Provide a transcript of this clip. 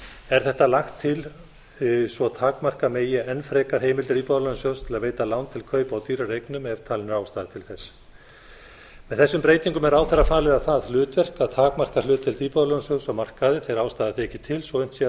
er þetta lagt til svo takmarka megi enn frekar heimildir íbúðalánasjóðs til að veita lán til kaupa á dýrari eignum ef talin er ástæða til þess með þessum er ráðherra falið á hlutverk að takmarka hlutdeild íbúðalánasjóðs á markaði þegar ástæða þykir til og unnt sé að